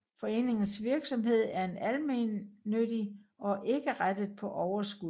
Foreningens virksomhed er almennyttig og ikke rettet på overskud